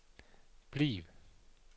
bliv